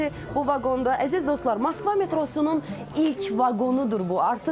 Bu vaqonda, əziz dostlar, Moskva metrosunun ilk vaqonudur bu.